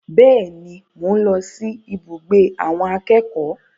Bẹ́ẹ̀ni, mò ń lọ sí ibùgbé àwọn akẹ́kọ̀ọ́.